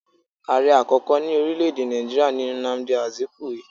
Ààre àkókò ní orílẹ́ èdè Nàìjíríà ni Nnamdi Azikiwe